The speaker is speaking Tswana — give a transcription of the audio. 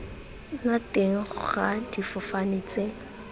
nna teng ga difofane tse